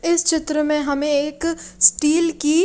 इस चित्र में हमें एक स्टील की--